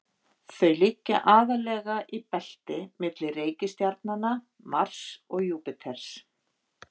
Þau liggja aðallega í belti milli reikistjarnanna Mars og Júpíters.